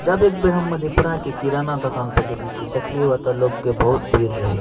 जब एक बेर हम मधेपुरा के किराना दोकान प गेली त देखलीये व त लोग के बहुत भीड़ रही।